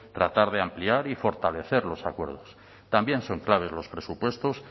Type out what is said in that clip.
tratar de ampliar y fortalecer los acuerdos también son claves los presupuestos